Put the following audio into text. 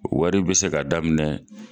Wari be se ka daminɛ